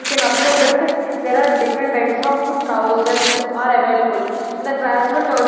We can observe that there are different types of trousers are available and the crasual --